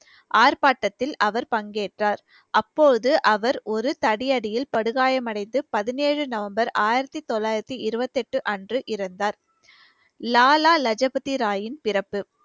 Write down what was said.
ஆர்ப்பாட்டத்தில் அவர் பங்கேற்றார் அப்போது அவர் ஒரு தடியடியில் படுகாயம் அடைந்து பதினேழு நவம்பர் ஆயிரத்தி தொள்ளாயிரத்தி இருவத்தி எட்டு அன்று இறந்தார் லாலா லஜூ பதி ராயின் பிறப்பு